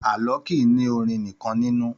Àlọ́ kìí ní orin nìkan nínú.